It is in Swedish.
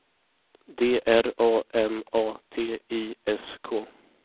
D R A M A T I S K